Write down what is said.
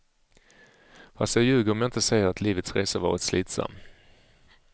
Fast jag ljuger om jag inte säger att livets resa varit slitsam.